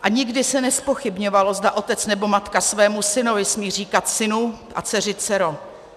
A nikdy se nezpochybňovalo, zda otec nebo matka svému synovi smí říkat synu a dceři dcero.